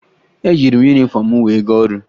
Eyiri m yunifọmụ m wee gaa ọrụ